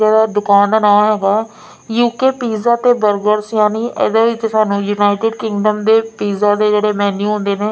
ਇਹਦਾ ਦੁਕਾਨ ਦਾ ਨਾਂ ਹੈਗਾ ਯੂਕੇ ਪੀਜਾ ਤੇ ਬਰਗਰਸ ਯਾਨੀ ਇਹਦੇ ਵਿੱਚ ਸਾਨੂੰ ਯੂਨਾਈਟਡ ਕਿੰਡਮ ਦੇ ਪੀਜਾ ਦੇ ਜਿਹੜੇ ਮੀਨੂੰ ਹੁੰਦੇ ਨੇ --